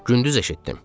Gündüz eşitdim.